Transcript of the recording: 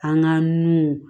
An ka nun